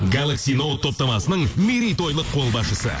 галакси ноуд топтамасының мерейтойлық қолбасшысы